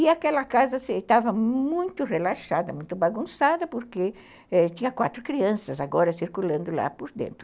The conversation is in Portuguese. E aquela casa estava muito relaxada, muito bagunçada, porque tinha quatro crianças agora circulando lá por dentro.